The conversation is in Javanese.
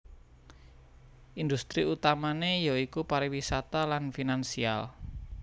Industri utamané ya iku pariwisata lan finansial